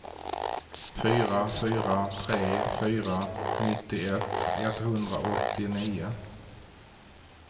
fyra fyra tre fyra nittioett etthundraåttionio